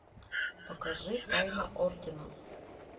покажи тайна ордена